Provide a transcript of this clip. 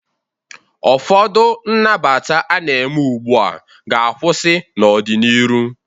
Ọfọdụ nnabata a na-eme ugbu a ga-akwụsị n'ọ dị n'iru.